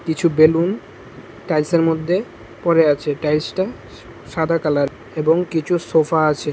কিছু balloon tiles -এর মদ্যে পড়ে আচে টাইলস -টা স সাদা কালার এবং কিচু সোফা আছে।